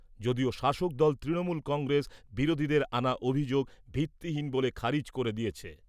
যদিও শাসক দল তৃণমূল কংগ্রেস বিরোধীদের আনা অভিযোগ ভিত্তিহীন বলে খারিজ করে দিয়েছে।